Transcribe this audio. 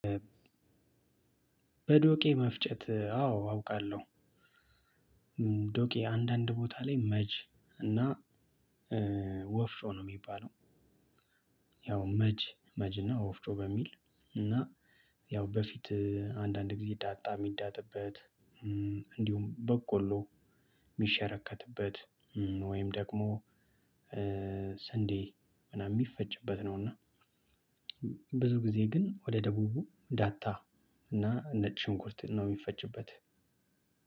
በዶቄ መፍጨት አዎ አውቃለሁ። ዶቄ አንዳንድ ቦታ ላይ መጅ እና ወፍጮ ነው የሚባለው። ያው መጅ መጅ እና ወፍጮ በሚል እና ያው በፊት አንዳንድ ጊዜ ዳጣ የሚዳጥበት እንዲሁም በቆሎ የሚሸረከትበት ወይም ደግሞ ስንዴ ምናምን የሚፈጭበት ነው። እና ብዙ ጊዜ ግን ወደ ደቡቡ ዳታ እና ነጭ ሽንቁርት ነው የሚፈጭበት።